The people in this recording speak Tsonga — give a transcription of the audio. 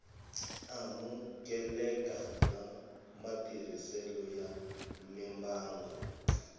amukeleka bya matirhiselo ya mimbangu